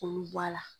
K'olu bɔ a la